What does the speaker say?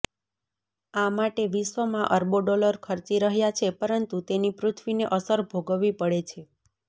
આ માટે વિશ્ર્વમાં અરબો ડોલર ખર્ચી રહ્યા છે પરંતુ તેની પૃથ્વીને અસર ભોગવવી પડે છે